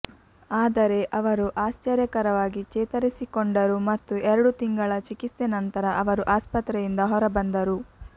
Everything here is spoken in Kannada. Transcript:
ಆದರೆ ಅವರು ಆಶ್ಚರ್ಯಕರವಾಗಿ ಚೇತರಿಸಿಕೊಂಡರು ಮತ್ತು ಎರಡು ತಿಂಗಳ ಚಿಕಿತ್ಸೆ ನಂತರ ಅವರು ಆಸ್ಪತ್ರೆಯಿಂದ ಹೊರಬಂದರು